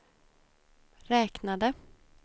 räknade